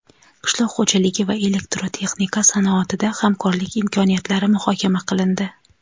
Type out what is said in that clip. qishloq xo‘jaligi va elektrotexnika sanoatida hamkorlik imkoniyatlari muhokama qilindi.